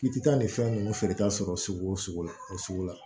K'i ti taa nin fɛn ninnu feereta sɔrɔ sugu o sugu la o sugu la